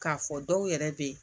K'a fɔ dɔw yɛrɛ bɛ yen